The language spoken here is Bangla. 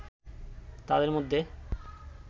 তাঁদের মধ্যে